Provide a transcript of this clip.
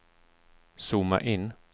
zooma in